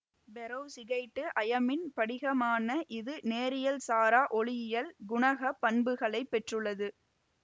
perovskite அயமின் படிகமான இது நேரியல்சாரா ஒளியியல் குணகப் பண்புகளை பெற்றுள்ளது